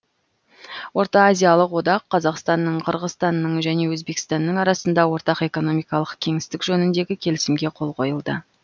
орта азиялық одақ қазақстаның қырғызстанның және өзбекстанның арасында ортақ экономикалық кеңістік жөніндегі келісімге қол қойылды